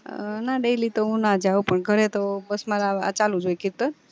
ના daily તો હું નાં જાઉં પણ ઘરે તો બસ મારે આ ચાલુજ હોઈ કીર્તન